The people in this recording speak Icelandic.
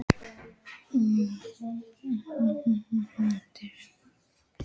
Lyngþór, slökktu á þessu eftir fimmtíu og fimm mínútur.